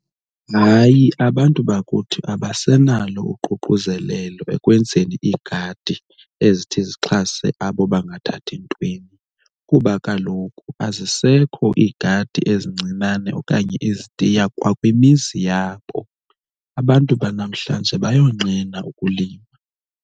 Hayi, abantu bakuthi abasenalo uququzelelo ekwenzeni iigadi ezithi zixhase abo bangathathi ntweni kuba kaloku azisekho iigadi ezincinane okanye izitiya kwa kwimizi yabo, abantu banamhlanje bayonqena ukulima.